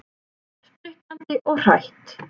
Spriklandi og hrætt.